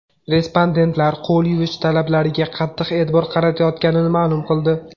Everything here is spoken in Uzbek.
Respondentlar qo‘l yuvish talablariga qattiq e’tibor qaratayotganini ma’lum qildi.